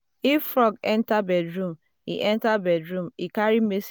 if frog enter bedroom e enter bedroom e carry message